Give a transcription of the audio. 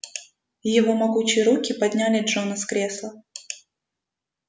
его могучие руки подняли джона с кресла